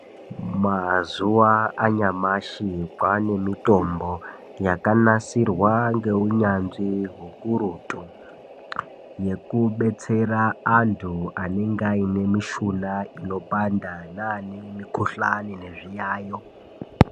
Mazuwa anyamashi kwane mitombo yakanasirwa ngeunyanzvi hukurutu, yekubetsera antu anenge aine mishuna inopanda neane mikhuhlani nezviyayo.